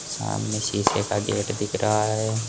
सामने शीशे का गेट दिख रहा है।